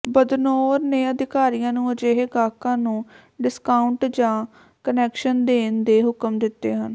ਬਦਨੌਰ ਨੇ ਅਧਿਕਾਰੀਆਂ ਨੂੰ ਅਜਿਹੇ ਗਾਹਕਾਂ ਨੂੰ ਡਿਸਕਾਊਂਟ ਜਾਂ ਕੰਸੈਸ਼ਨ ਦੇਣ ਦੇ ਹੁਕਮ ਦਿੱਤੇ ਹਨ